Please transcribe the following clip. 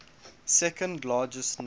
second largest number